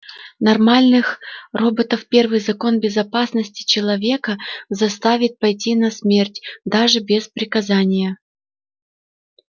нормальных роботов первый закон безопасности человека заставит пойти на смерть даже без приказания